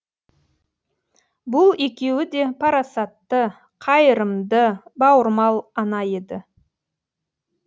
бұл екеуі де парасатты қайырымды бауырмал ана еді